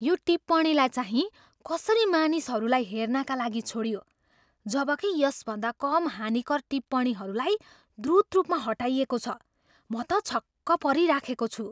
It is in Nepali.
यो टिप्पणीलाई चाहिँ कसरी मानिसहरूलाई हेर्नाका लागि छोडियो जबकि यसभन्दा कम हानिकर टिप्पणीहरूलाई द्रुत रूपमा हटाइएको छ? म त छक्क परिराखेको छु।